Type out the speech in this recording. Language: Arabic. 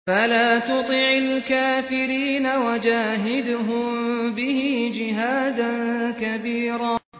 فَلَا تُطِعِ الْكَافِرِينَ وَجَاهِدْهُم بِهِ جِهَادًا كَبِيرًا